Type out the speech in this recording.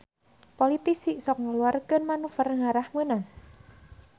Politisi sok ngaluarkeun manuver ngarah meunang